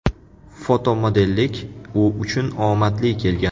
Fotomodellik u uchun omadli kelgan.